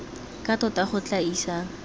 ka tota go tla isang